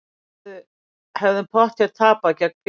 Hefðum pottþétt tapað gegn Fylki